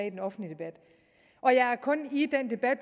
i den offentlige debat og jeg er kun i den debat